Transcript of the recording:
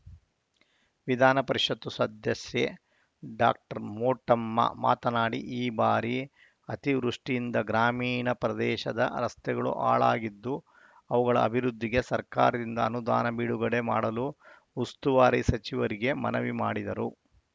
ವಿಧಾನಪರಿಷತ್‌ ಸದಸ್ಯೆ ಡಾಕ್ಟರ್ ಮೋಟಮ್ಮ ಮಾತನಾಡಿ ಈ ಬಾರಿ ಅತಿವೃಷ್ಟಿಯಿಂದ ಗ್ರಾಮೀಣ ಪ್ರದೇಶದ ರಸ್ತೆಗಳು ಹಾಳಾಗಿದ್ದು ಅವುಗಳ ಅಭಿವೃದ್ಧಿಗೆ ಸರ್ಕಾರದಿಂದ ಅನುದಾನ ಬಿಡುಗೊಡೆ ಮಾಡಲು ಉಸ್ತುವಾರಿ ಸಚಿವರಿಗೆ ಮನವಿ ಮಾಡಿದರು